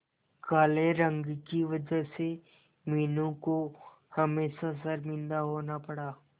काले रंग की वजह से मीनू को हमेशा शर्मिंदा होना पड़ा